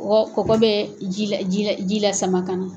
Kɔgɔ kɔgɔ bɛ ji la ji la ji lasama ka na.